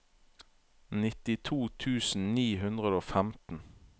nittito tusen ni hundre og femten